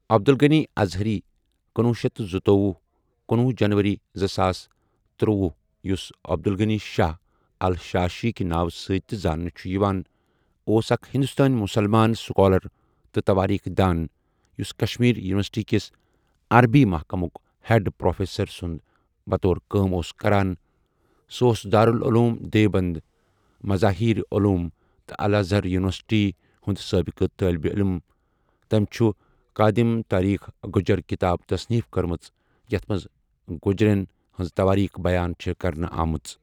عبد الغنی ازہری کُنوہُ شیتھ تہٕ زُتوۄہُ ،کُنوہُ جَنؤری زٕساس تٔروۄہُ یُس عبدالغنی شاہ ال شاشی کہ ناوٕ سٟتؠ تہِ زاننہٕ چھُ یوان اوس اَکھ ہِندوستٲنؠ مُسلمان سُکالر تہٕ تَوٲریٖخ دان یُس کشمیر یونیورسٹی کِس عربی محکمک ہیڈ پروفیسر سنٛدطور کٲم اوس کران سُہ اوس دارالعلوم دیوبَند مزاہیر علوم تہٕ الازہر یونیورسٹی ہنٛد سٲبقہٕ طٲلبہٕ عٔلِم تٔمۍ چھُ قادم تاریخ گجر کتاب تصنیف کٔرمٕژ یَتھ مَنٛز گجرؠن ہنٛز تَوٲریٖخ بیان چھےٚ کرنہٕ آمٕژ۔